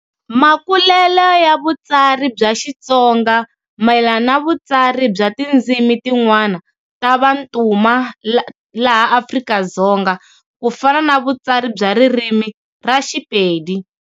Makulele ya vutsari bya Xitsonga, mayelana na vutsari bya tidzimi tin'wana ta vantuma laha Afrika-Dzonga, kufana na Vutsari bya ririmi ra Xipedi.